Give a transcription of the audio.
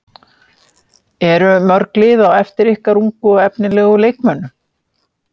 Eru mörg lið á eftir ykkar ungu og efnilegu leikmönnum?